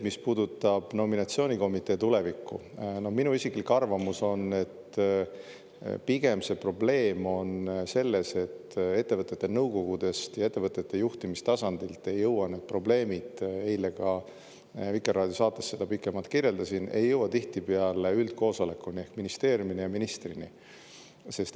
Mis puudutab nominatsioonikomitee tulevikku, siis minu isiklik arvamus on, et pigem probleem on selles, et ettevõtete nõukogudest ja üldse ettevõtete juhtimise tasandilt ei jõua need probleemid – eile ma Vikerraadio saates seda pikemalt kirjeldasin – tihtipeale üldkoosolekuni ehk ministeeriumi ja ministrini.